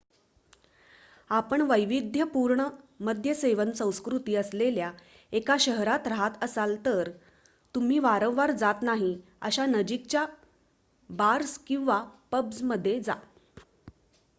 आपण वैविध्यपूर्ण मद्यसेवन संस्कृती असलेल्या एका शहरात राहत असाल तर तुम्ही वारंवार जात नाही अशा नजिकच्या बार्स किंवा पब्जमध्ये जा